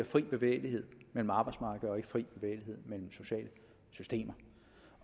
fri bevægelighed mellem arbejdsmarkeder og ikke fri bevægelighed mellem sociale systemer